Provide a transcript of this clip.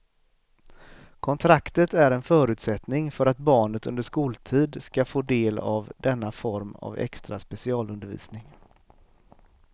Kontraktet är en förutsättning för att barnet under skoltid ska få del av denna form av extra specialundervisning.